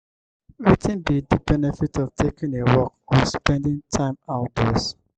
wetin be di benefit of taking a walk or spending time outdoors?